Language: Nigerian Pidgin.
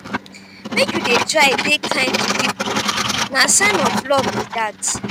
make you dey try dey kind to pipo na sign of love be dat.